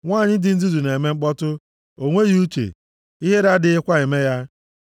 Nwanyị dị nzuzu na-eme mkpọtụ, o nweghị uche; ihere adịghịkwa eme ya.